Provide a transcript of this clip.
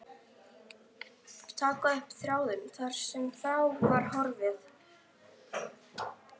Taka upp þráðinn, þar sem frá var horfið.